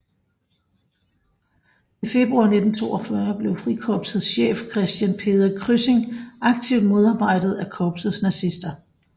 I februar 1942 blev Frikorpsets chef Christian Peder Kryssing aktivt modarbejdet af korpsets nazister